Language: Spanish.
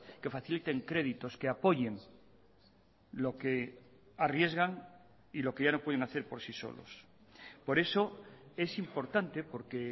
que faciliten créditos que apoyen lo que arriesgan y lo que ya no pueden hacer por sí solos por eso es importante porque